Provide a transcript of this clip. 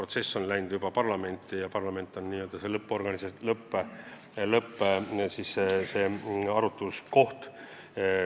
Eelnõu on jõudnud juba parlamenti ja parlament on see lõpliku arutluse koht.